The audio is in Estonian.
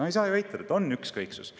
No ei saa ju eitada, et on ükskõiksus.